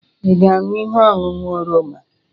Ị ga-aṅụ ihe ọṅụṅụ oroma?